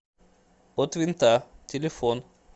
от винта телефон